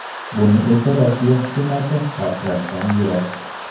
Buni esa Rossiya hukumati sharhlashdan yiroq.